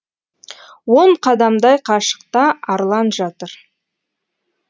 он қадамдай қашықта арлан жатыр